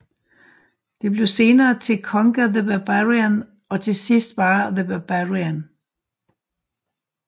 Det blev senere til Konga the Barbarian og til sidst bare The Barbarian